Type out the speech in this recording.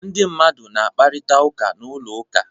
Ndị mmadụ na-akparịta ụka n'ụlọ ụka.